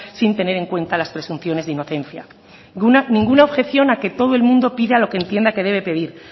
sin tener en cuenta las pretensiones de inocencia ninguna objeción a que todo el mundo entienda que debe pedir